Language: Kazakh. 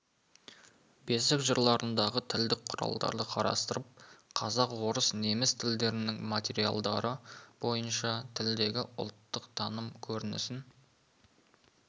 бесік жырларындағы тілдік құралдарды қарастырып қазақ орыс неміс тілдерінің материалдары бойынша тілдегі ұлттық таным көрінісін